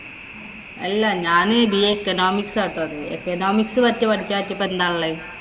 അല്ല ഞാന് BA Economics ആട്ടോ അത്. Economics വച്ച് പഠിച്ചാ ഇപ്പം എന്താ ഉള്ളെ?